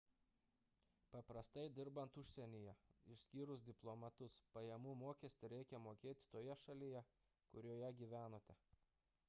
paprastai dirbant užsienyje išskyrus diplomatus pajamų mokestį reikia mokėti toje šalyje kurioje gyvenate